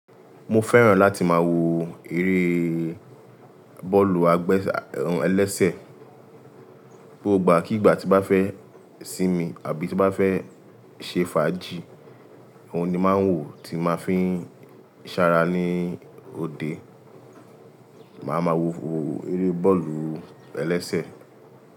Mo fẹ́ràn láti máa wo eré bọ́ọ̀lù-ẹbẹ́sẹ̀ ẹlẹ́sẹ̀ gbogbo àkígbàbá tí bá fẹ́ sinmi àbí tí bá fẹ́ ṣe fàájì, òun ni màá ń wò tí màá fi ṣara ní òde. Màá ma wo eré bọ́ọ̀lù-ẹlẹ́sẹ̀